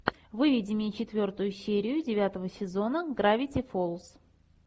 выведи мне четвертую серию девятого сезона гравити фолз